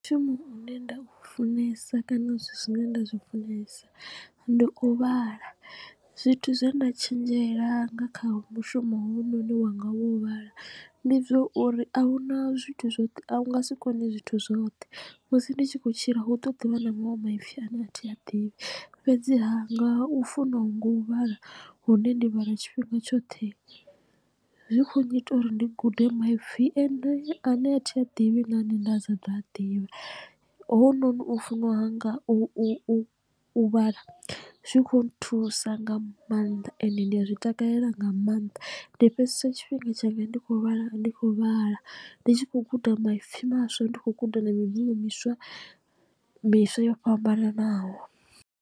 Mushumo une nda u funesa kana zwithu zwine nda zwi funesa ndi u vhala zwithu zwe nda tshenzhela nga kha mushumo hoyunoni wanga wo vhala ndi zwa uri a hu na zwithu zwoṱhe a u nga si kone zwithu zwoṱhe. Musi ndi tshi kho tshila hu ḓo ḓivha na maṅwe maipfi a ne a thi a ḓivhi fhedziha nga u funa ha nga u vhala hune ndi vhala tshifhinga tshoṱhe zwi kho nnyita uri ndi gude maipfi ane a ne a thi a ḓivhi na ane nda sa ḓo a ḓivha. Hounoni u funa hanga u vhala zwi khou nthusa nga maanḓa ende ndi a zwi takalela nga maanḓa ndi fhedzesa tshifhinga tshanga ndi khou vhala ndi khou vhala ndi tshi khou guda maipfi maswa ndi khou guda na mibvumo miswa miswa yo fhambananaho.